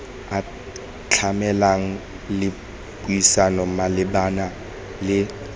atlhameng le puisano malebana le